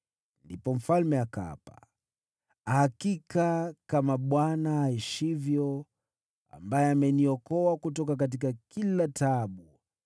Ndipo mfalme akaapa: “Hakika kama Bwana aishivyo, ambaye ameniokoa kutoka kila taabu,